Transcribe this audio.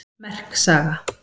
Merk saga